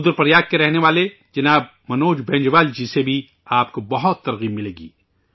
رودر پریاگ کے رہنے والے شری مان منوج بینجوال جی سے بھی آپ کو بہت تحریک ملے گی